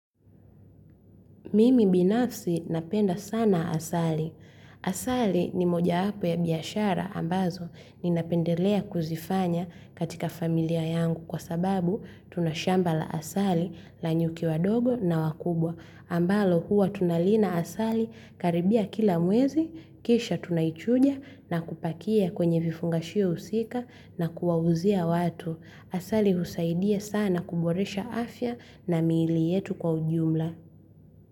Mimi binafsi napenda sana asali. Asali ni moja hapo ya biashara ambazo nina pendelea kuzifanya katika familia yangu kwa sababu tuna shamba la asali la nyuki wadogo na wakubwa. Ambalo huwa tunalina asali karibia kila mwezi, kisha tunaichuja na kupakia kwenye vifungashio usika na kuwauzia watu. Asali husaidia sana kuboresha afya na miili yetu kwa ujumla.